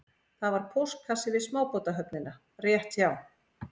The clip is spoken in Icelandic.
Það var póstkassi við smábátahöfnina rétt hjá